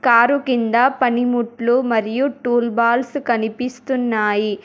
Car కింద పనిముట్లు మరియు టూల్ బాల్స్ కనిపిస్తున్నాయి.